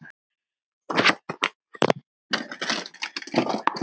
Og lífið brosir við þér!